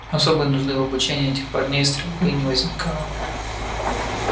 особой нужды в обучении этих парней стрельбе не возникало